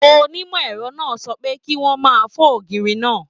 Onimọ ẹrọ náà sọ pé, ki wọn má fọ ògiri náà!